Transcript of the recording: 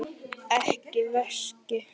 Ekki veski.